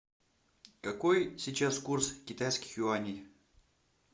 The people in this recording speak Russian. какой сейчас курс китайских юаней